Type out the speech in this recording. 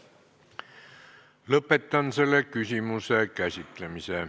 Lõpetan selle küsimuse käsitlemise.